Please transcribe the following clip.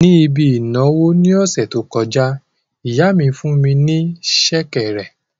Níbi ìnáwó ní ọ̀sẹ̀ tó kọjá, ìyá mi fún ní sẹ̀kẹ̀rẹ̀